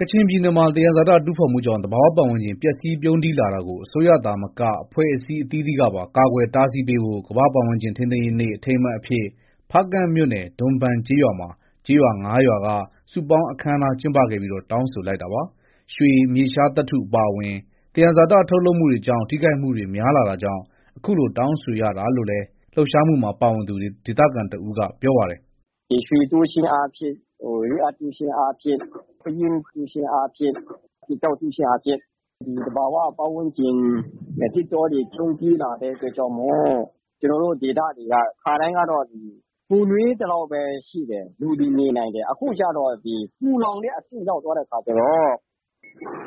ကချင်ပြည်နယ်မှာ သံယံဇာတတူးဖော်မှုကြောင့် သဘာ၀ ပတ်ဝန်းကျင် ပျက်စီးပြုန်းတီးလာတာကို အစိုးရသာမက အဖွဲ့အစည်းအသီးသီးကပါ ကာကွယ်တားဆီးပေးဖို့ ကမ္ဘာပတ်ဝန်းကျင်ထိန်းသိမ်းရေးနေ့ အထိမ်းအမှတ်အဖြစ် ဖားကန့်မြို့နယ် ဒွန်ဘန်ကျေးရွာမှာ ကျေးရွာ ၅ရွာက စုပေါင်းအခမ်းအနား ကျင်းပခဲ့ပြီး တောင်းဆိုလိုက်တာပါ။ ရွှေ၊ မြေရှားသတ္ထု အပါအဝင် သယံဇာတ ထုတ်လုပ်မှုတွေကြောင့် ထိခိုက်မှုတွေ များလာတာကြောင့် အခုလို တောင်းဆိုရတာလို့လည်း လှုပ်ရှားမှုမှာ ပါဝင်သူ ဒေသခံတဦးက ပြောပါတယ်။ “ ဒီရွှေတူးခြင်းအားဖြင့်၊ Rare Earth တူးခြင်းအားဖြင့်၊ ပယင်းတူးခြင်းအားဖြင့်၊ ကျောက်တူးခြင်းအားဖြင့် သဘာဝပတ်ဝန်းကျင် သစ်တောတွေ ပြုန်းတီးလာတဲ့အတွက်ကြောင့် ကျနော်တို့ ဒေသတွေက ခါတိုင်းကတော့ ပူနွေးသလောက်ပဲ ရှိတယ်။ လူတွေ နေနိုင်တယ်။ အခုကျတော့ ပူလောင်တဲ့အဆင့် ရောက်သွားတဲ့အခါ ကျတော့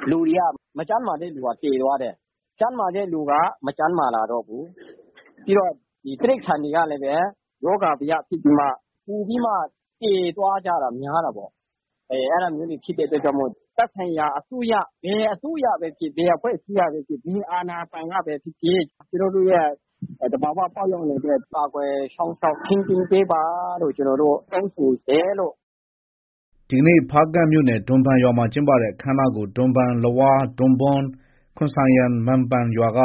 လူတွေက မကျန်းမာတဲ့သူကျ သေသွားတယ်။ ကျန်းမာတဲ့သူက မကျန်းမာလာတော့ဘူး။ ပြီးတော့ တိရိစ္ဆာန်တွေကလည်း ရောဂါဘယဖြစ်ပြီးမှ ပိုပြီးမှ သေသွားကြတာများတာပေါ့။ အဲဒါမျိုးတွေ ဖြစ်တဲ့အတွက်ကြောင့် သက်ဆိုင်ရာ ဘယ်အစိုးရ ၊ ဘယ်အစိုးရပဲဖြစ်ဖြစ်၊ ဘယ်အဖွဲ့အစည်းကပဲဖြစ်ဖြစ်၊ ဘယ်အာဏာပိုင်ကပဲဖြစ်ဖြစ် ကျနော်တို့ရဲ့ သဘော၀ ပတ်ဝန်းကျင်အတွက် ကာကွယ် စောင့်ရှောက် ထိန်းသိမ်းပေးပါလို့ ကျနော်တို့ တောင်းဆိုတယ်လို့။ ” ဒီကနေ့ ဖားကန့်မြို့နယ် ဒွန်ဘန်ရွာမှာ ကျင်းပတဲ့ အခမ်းအနားကို ဒွန်ဘန်၊ လဝါး၊ ဒွန်ဘွန်း၊ ခွန်ဆိုင်ယန်၊ မန်ပန်ရွာက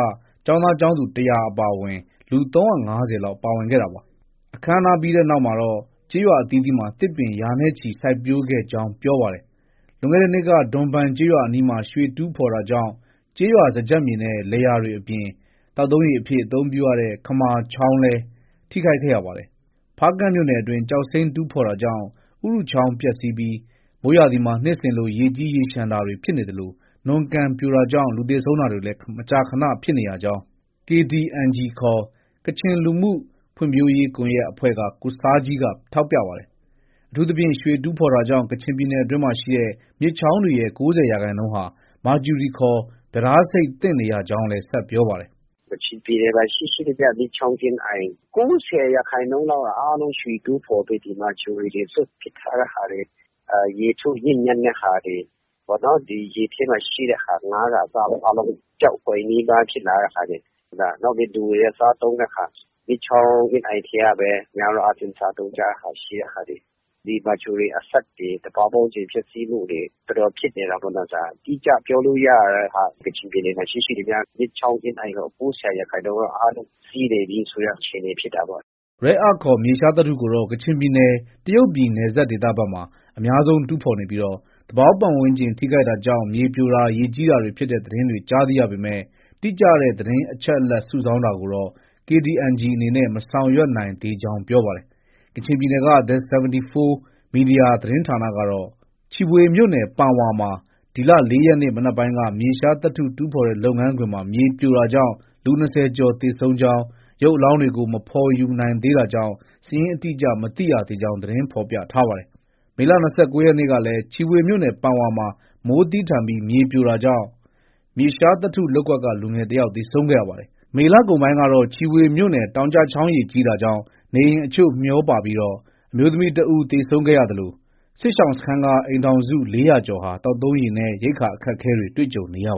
ကျောင်းသား၊ ကျောင်းသူ ၁၀၀ကျော်အပါအဝင် လူ ၃၅၀လောက် ပါဝင် ကျင်းပခဲ့တာပါ။ အခမ်းအနားပြီးနောက်မှာတော့ ကျေးရွာအသီးသီးမှာ သစ်ပင်ရာနဲ့ချီစိုက်ပျိုးခဲ့ကြောင်း ပြောပါတယ်။ လွန်ခဲ့တဲ့နှစ်က ဒွန်ဘန်ကျေးရွာအနီးမှာ ရွှေတူးဖော်တာကြောင့် ကျေးရွာစားကျက်မြေနဲ့ လယ်ယာတွေ အပြင် သောက်သုံးရေအဖြစ် အသုံးပြုရတဲ့ ခမာချောင်းလည်း ထိခိုက်ခဲ့ရပါတယ်။ ဖားကန့်မြို့နယ်အတွင်း ကျောက်စိမ်းတူးဖော်တာကြောင့် ဥရုချောင်းပျက်ဆီပြီး မိုးရာသီမှာ နှစ်စဉ်လို ရေကြီးရေလျှံတာတွေဖြစ်နေသလို နွံကန်ပြိုတာကြောင့် လူသေဆုံးတာတွေ မကြာခန ဖြစ်နေရကြောင်း KDNG ခေါ် ကချင်လူမှုဖွံ့ဖြိုးရေးကွန်ရက်အဖွဲ့က ကိုဆားဂျီးက ထောက်ပြပါတယ်။ အထူးသဖြင့် ရွှေတူးဖော်တာကြောင့် ကချင်ပြည်နယ်အတွင်းရှိ မြစ်ချောင်းတွေရဲ့ ၉၀ရာခိုင်နှုန်းဟာ မာကျူရီခေါ် ပြဒါးဆိပ်သင့်နေရကြောင်းလည်း ဆက်ပြောပါတယ်။ “ ကချင်ပြည်နယ်မှာ ရှိရှိသမျှ မြစ်ချောင်းအင်းအိုင် ၉၀ ရာခိုင်နှုန်းလောက်က ရွှေတူးဖော်ပြီး ဒီမာကျူရီတွေ စွန့်ပစ်ထားတဲ့ဟာတွေ၊ ရေထုညစ်ညမ်းတဲ့ဟာတွေ၊ ရေထဲမှာရှိတဲ့ဟာ ဒီငါးကအစပေါ့ အားလုံး ပျောက်ကွယ် နီးပါး ဖြစ်လာတဲ့ဟာတွေ၊ နောက်ပြီး လူတွေက စားသုံးတဲ့ဟာ၊ မြစ်ချောင်းအင်းအိုင် ထဲကပဲ များသောအားဖြင့် စားသုံးကြတဲ့ဟာတွေ၊ ဒီမာကျူရီအဆိပ်တွေ၊ သဘာဝပတ်ဝန်းကျင်ပျက်ဆီးမှုတွေ တော်တော်ဖြစ်နေတာ ပေ့ါနော် ဒါက။ အတိအကျပြောလို့ ရတဲ့ဟာက ကချင်ပြည်နယ်မှာရှိရှိသမျှ မြစ်ချောင်းအင်းအိုင် ၉၀ရာခိုင်နှုန်း က အားလုံးပျက်ဆီးနေပြီဆိုတဲ့ အခြေအနေဖြစ်တာပေါ့။ ” Rare Earth ခေါ် မြေရှားသတ္တုကိုတော့ ကချင်ပြည်နယ် တရုတ်ပြည်နယ်စပ်ဒေသဘက်မှာ အများဆုံးတူးဖော်နေပြီး သဘာဝပတ်ဝန်းကျင်ထိခိုက်တာကြောင့် မြေပြိုတာ၊ ရေကြီးတာတွေ ဖြစ်တဲ့သတင်းတွေကြား သိရပေမဲ့ တိကျတဲ့ အချက်အလက်စုဆောင်းတာကိုတော့ KDNG အနေနဲ့ မဆောင်ရွက်နိုင်သေးကြောင်း ပြောပါတယ်။ ကချင်ပြည်နယ်က The 74 Media သတင်းဌာနကတော့ ချီဗွေမြို့နယ် ပန်ဝါမှာ ဒီလ ၄ရက်နေ့ နံနက်ပိုင်းက မြေရှားသတ္တုတူးဖော်တဲ့လုပ်ငန်းခွင်မှာ မြေပြိုတာကြောင့် လူ ၂၀ကျော်သေဆုံးကြောင်း ၊ရုပ်အလောင်းတွေကို မဖော်ယူနိုင်သေးတာကြောင့် စာရင်း အတိအကျ မသိရသေးကြောင်း သတင်းဖော်ပြထားပါတယ်။ မေလ ၂၉ရက်နေ့ကလည်း ချီဗွေမြို့နယ် ပန်ဝါမှာ မိုးသည်းထန်ပြီး မြေပြိုတာကြောင့် မြေရှားသတ္တုလုပ်ကွက်က လူငယ်တယောက် သေဆုံးခဲ့ရပါတယ်။ မေလကုန်ပိုင်းကတော့ ချီဗွေမြို့နယ်အတွင်း တောင်ကျချောင်းရေကြီးတာကြောင့် နေအိမ်အချို့ မျှောပါပြီး အမျိုးသမီးတဦး သေဆုံးခဲ့သလို စစ်ရှောင်စခန်းက အိမ်ထောင်စု ၄၀၀ကျော်ဟာ သောက်သုံးရေနဲ့ ရိက္ခာအခက်အခဲတွေ တွေ့ကြုံနေရပါတ